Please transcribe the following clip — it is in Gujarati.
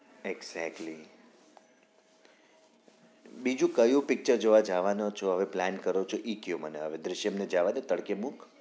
exactly બીજું કયું picture જોવા જવાના છો હવે plan કરો છો ઇ કયો મને દૃશ્યમ ને જાવા દયો તડકે મુક